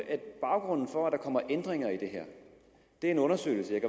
baggrunden for at der kommer ændringer i det her er en undersøgelse